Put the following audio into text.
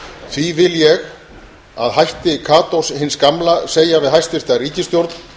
því vil ég að hætti katós hins gamla segja við hæstvirta ríkisstjórn